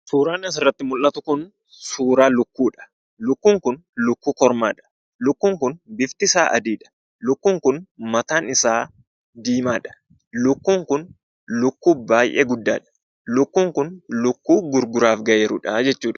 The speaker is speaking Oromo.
Suuraan asirratti mul'atu kun suuraa lukkuudha. Lukkuun kun lukkuu kormaadha. Lukkuun kun biftisaa adiidha. Lukkuun kun mataansaa diimaadha. Lukkuun kun kun lukkuu baay'ee guddaadha. Lukkuun kun lukkuu gurguraaf gahee jirudha jechuudha.